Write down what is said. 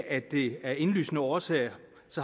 at vi af indlysende årsager